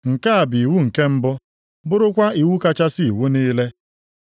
Nke a bụ iwu nke mbụ, bụrụkwa iwu kachasị iwu niile.